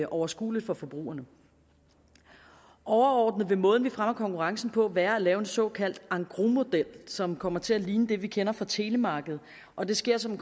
overskueligt for forbrugerne overordnet vil måden vi fremmer konkurrencen på være at lave en såkaldt engrosmodel som kommer til at ligne det vi kender fra telemarkedet og det sker som